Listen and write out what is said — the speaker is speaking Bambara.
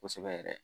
Kosɛbɛ yɛrɛ